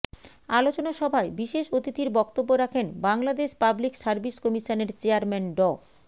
আলোচনা সভায় বিশেষ অতিথির বক্তব্য রাখেন বাংলাদেশ পাবলিক সার্ভিস কমিশনের চেয়ারম্যান ড